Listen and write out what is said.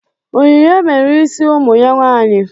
Onyinye mere isi ụmụ ya nwaanyị.